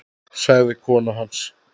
sagði kona hans.